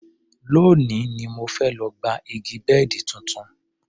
Lónìí ni mo fẹ́ lọ gba gba igi bẹ́ẹ̀dì tuntun